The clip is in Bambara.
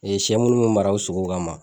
Ee sɛ munnu be mara u sogo kama.